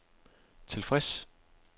tilfreds